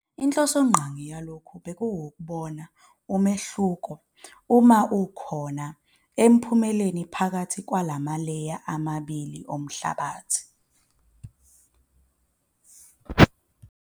Inhlosongqangi yalokho bekuwukubona umehluko, uma ukhona, emiphumeleni phakathi kwalamaleya amabili omhlabathi.